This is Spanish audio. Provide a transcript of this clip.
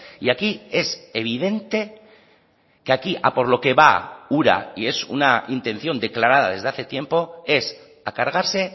y aquí es evidente que aquí a por lo que va ura y es una intención declarada desde hace tiempo es a cargarse